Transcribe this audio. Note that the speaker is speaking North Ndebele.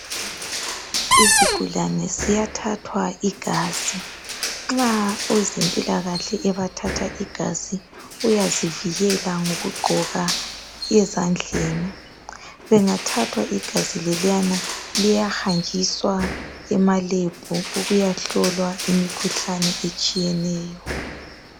isigulane siyathathwa igazi nxa owezempilakahle ebathatha igazi uyazivikela ngokgqoka ezandleni bengathathwa igazi leliyana liyahanjiswa ema lab ukuya hlolwa imikhuhlane etshiyeneyo